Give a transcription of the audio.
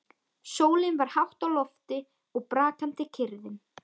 Sólin var hátt á lofti og brakandi kyrrðin.